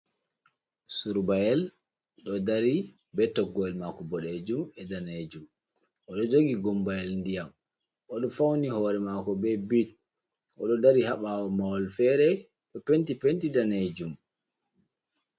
Surbayel ɗo dari be toggowel mako boɗejum e danejum, oɗo jogi gumbayel ndiyam oɗo fauni hore mako be bit oɗo dari ha ɓawo mahol fere ɗo penti penti danejum.